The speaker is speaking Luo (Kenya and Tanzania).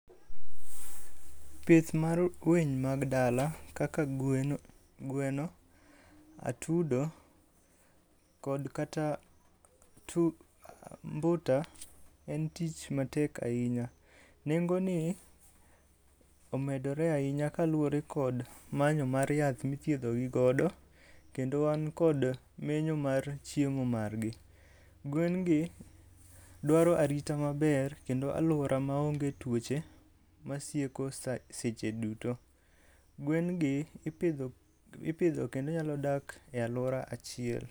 Pith mar gwen mag dala kaka gwen, gweno, atudo kod kata mbuta en tich matek ahinya. Nengoni omedore ahinya kaluwore kod manyo mar yath mithiedho gi godo . kendo wan kod menyo mar chiemo margi. Gwengi dwaro arita maber kendo aluora maonge tuoche masieko seche duto. Gwen gi ipidho kendo nyalo dak e alwora achiel.